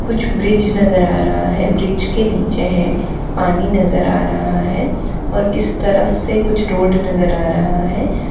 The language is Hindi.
कुछ ब्रिज नजर आ रहा है ब्रिज के नीचे है पानी नजर आ रहा है और इस तरफ से कुछ रोड नजर आ रहा है।